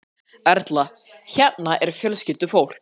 Erla: Hérna er fjölskyldufólk?